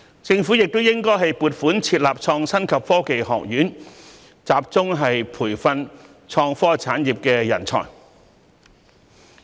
政府亦應撥款設立創新及科技學院，集中培訓創科產業人才。